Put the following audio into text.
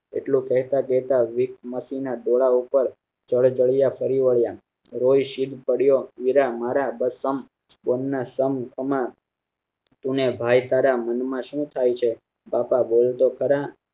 એટલું કેતા કેતા વિષ માંથી ડોળા પાર જળજળીયા ફરી વલિયા રોઈ શીદ પડયો વીરા મારા જેમના સમ તમે અને ભાઈ તારા મન માં શું થઇ છે બાપા બોલ તો ખરા